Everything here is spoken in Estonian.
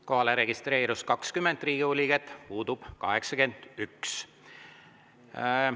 Kohalolijaks registreerus 20 Riigikogu liiget, puudub 81.